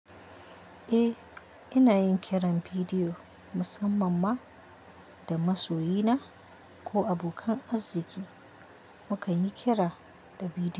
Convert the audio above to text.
Eh, ina yin kiran bidiyo musamman ma da masoyi na ko abokan arziki. Mukanyi kira da bidiyo.